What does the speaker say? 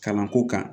Kalanko kan